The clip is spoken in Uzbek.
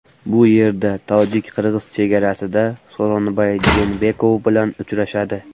Bu yerda tojik-qirg‘iz chegarasida Sooronbay Jeenbekov bilan uchrashadi.